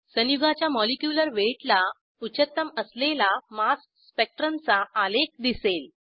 संयुगाच्या molecular weight ला उच्चतम असलेला मास स्पेक्ट्रम चा आलेख दिसेल